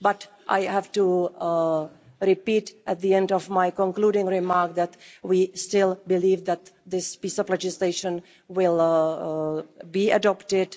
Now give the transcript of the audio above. But I have to repeat at the end of my concluding remarks that we still believe that this piece of legislation will be adopted.